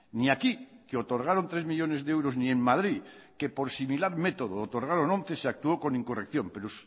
ni aquí que otorgaron tres millónes de euros ni en madrid que por similar método otorgaron once se actuó con incorrección pero